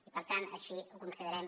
i per tant així ho considerem